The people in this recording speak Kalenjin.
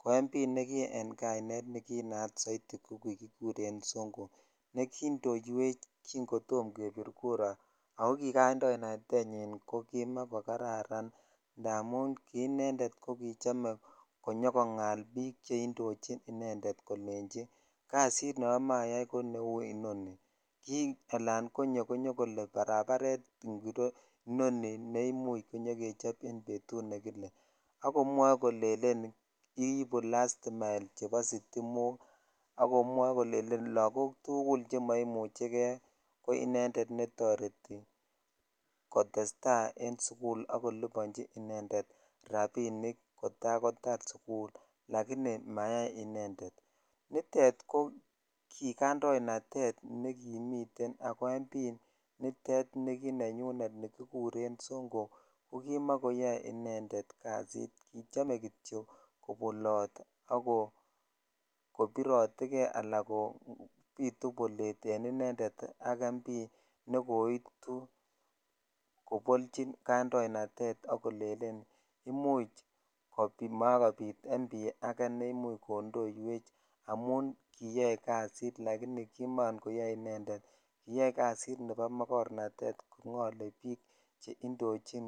ko mp ne ki rn jainet ko kinat souti ko kikikuten son ko ne koindoiwech ki kotom kebir kura ako kikandoinatenyin ko kimakokararan indamun ki inended ko kichome konyo kongal bik che indochi inended kolenchi kasit ne amoche aya ko inoni ki ala konyo ak kole barabaret ngiro inoni ne imuch konyokechop betut nekile akolelen kiibu lastimael chebo sitimokakomwoe kokelelen lakok tugul che moimuchikei ko inended netoreti kotestai en sukul kolibonchi inended rabinik kotakotar sukul likini mayai inended nitet ko kikaindonatet nekimi ak mp netet nekinenyen nikikuren sonko ko kimakoyoe inended kasit kichome kityok kobolt ak kobirotee kei ala kobitu bolet en inended ne koitu kobolchin ksndoiatet ak kolelen imuch komakobit mp ake ne imuch kondoiwech amun jiyoe kasit lakini kiman koyoe inended kiyoe jasit nebo magornatet ko ngole bik che indochin.